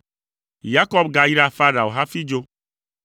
Yakob gayra Farao hafi dzo.